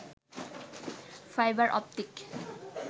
fibre optic